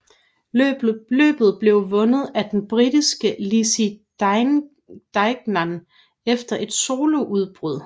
Løbet blev vundet af den britiske Lizzie Deignan efter et soloudbrud